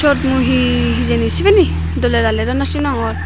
siyot mui hee hee hijeni sibeni doley daley daw naw sinongor.